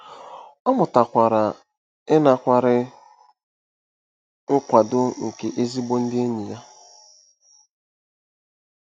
Ọ mụtakwara ịnakwere nkwado nke ezigbo ndị enyi ya.